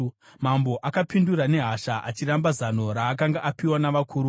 Mambo akapindura nehasha. Achiramba zano raakanga apiwa navakuru,